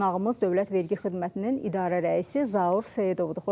Qonağımız Dövlət Vergi Xidmətinin idarə rəisi Zaur Seyidovdur.